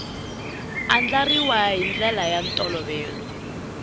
andlariwa hi ndlela ya ntolovelo